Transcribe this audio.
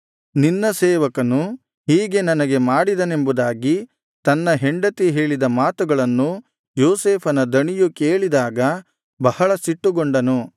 ನಿನ್ನ ಸೇವಕನು ಹೀಗೆ ನನಗೆ ಮಾಡಿದನೆಂಬುದಾಗಿ ತನ್ನ ಹೆಂಡತಿ ಹೇಳಿದ ಮಾತುಗಳನ್ನು ಯೋಸೇಫನ ದಣಿಯು ಕೇಳಿದಾಗ ಬಹಳ ಸಿಟ್ಟುಗೊಂಡನು